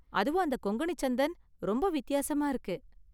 அதுவும் அந்த கொங்கணி சந்தன் ரொம்ப வித்தியாசமா இருக்கு.